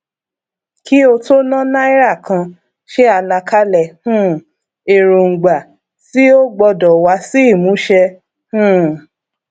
nínú àkọsílẹ kan iléiṣẹ náà sàlàyé pé ó ń gbé ìgbésẹ láti ro ètò ààbò rẹ